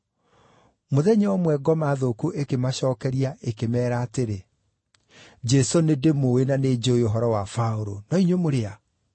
Mũthenya ũmwe, ngoma thũku ĩkĩmacookeria ĩkĩmeera atĩrĩ, “Jesũ nĩndĩmũũĩ na nĩnjũũĩ ũhoro wa Paũlũ, no inyuĩ mũrĩ a?”